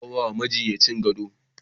Za a ba wa majinyacin gado